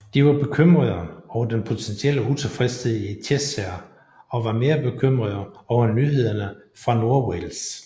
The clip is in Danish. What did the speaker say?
De var bekymrede over den potentielle utilfredshed i Cheshire og var mere bekymrede over nyhederne fra Nordwales